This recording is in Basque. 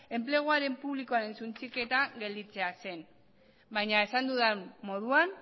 enplegu publikoaren suntsiketa gelditzea zen baina esan dudan moduan